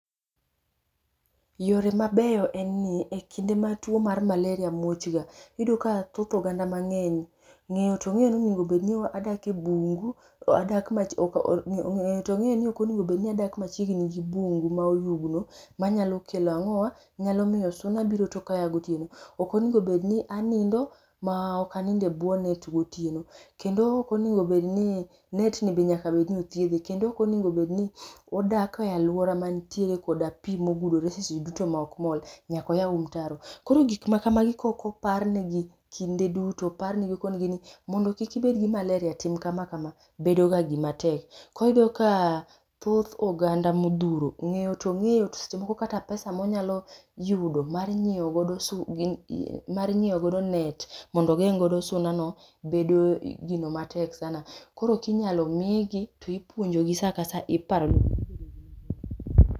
Yore mabeyo en ni,e kinde mar tuo ma malaria muochga iyudoka thoth oganda, mang'eny ng'eyo to ong'eyoni okonego obedni adak machiegni gi bungu maoyugno manyalo kelo ang'owa? nyalo miyo suna biro to kaya gotieno, okonego obedni anindo maokanindo e buo net gotieno, kendo okonego bedni netni be nyaka bedni othiedhe, kendo okonego bedni wadak e aluora mantiere koda pii mogudore seche duto maokmol nyaka wayaw mtaro. Koro gikma kamagi kookoparnegi kinde duto oparnegi okonigini mondo kik ibedgi malalria tim kama kama, bedoga gima tek. Koro iyudo ka thoth oganda mothuro ng'eyo to ong'eyo to seche moko pesa monyalo yudo mar nyieo godo net mondo ogeng' godo sunano, bedo gino matek sana. Koro kinyalo miigi to ipuonjogi saa ka saa.